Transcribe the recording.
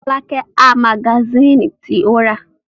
Fọlákẹ́ ha magasínì tí ó rà.